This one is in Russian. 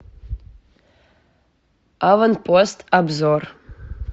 аванпост обзор